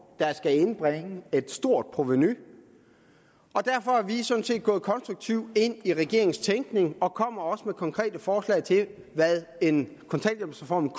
der skal indbringe et stort provenu og derfor er vi sådan set gået konstruktivt ind i regeringens tænkning og kommer også med nogle konkrete forslag til hvad en kontanthjælpsreform